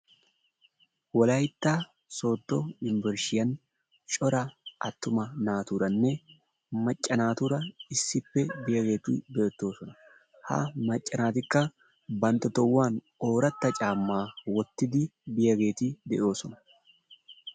Wolaytta sooddo unbburshshiyan cora attuma naaturaanne macca naatuura issippe biyageeti beettoosona. Ha macca naatikka bantta tohuwan ooratta caammaa wottidi biyageeti de'oosona.